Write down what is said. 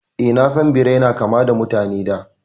Eh, na san Birai na kama da Mutane da